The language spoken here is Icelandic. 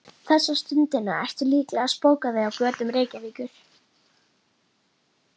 Þessa stundina ertu líklega að spóka þig á götum Reykjavíkur.